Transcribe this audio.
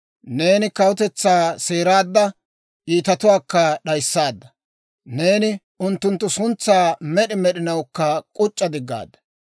Neeni kawutetsaa seeraadda; iitatuwaakka d'ayissaadda. Neeni unttunttu suntsaa med'i med'inawukka k'uc'c'a diggaadda.